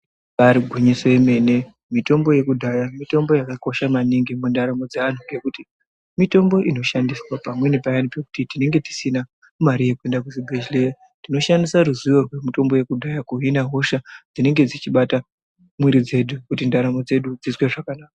Ibari gwinyiso yemene mitombo yekudhaya mitombo yakakosha maningi mundaramo dzevantu. Ngekuti mitombo inoshandiswa pamweni paya pekuti tinenge tisina mari yekuende kuzvibhedhleya. Tinoshandisa ruzivo rwemitombo yakudhaya kuhina hosha dzinenge dzichibata mwiri dzedu kuti ndaramo dzedu dzizwe zvakanaka.